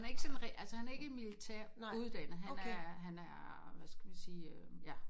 Han er ikke sådan rigtig altså han er ikke militær uddannet han er han er hvad skal man sige øh ja